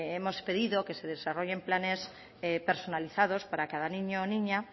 hemos pedido que se desarrollen planes personalizados para cada niño y niña